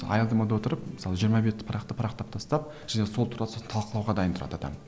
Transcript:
аялдамада отырып мысалы жиырма бетті парақтап парақтап тастап және сол туралы сосын талқылауға дайын тұрады адам